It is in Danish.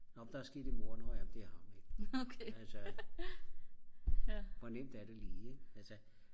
nå men der er sket et mord nå ja men det er ham ikke altså hvor nemt er det lige ik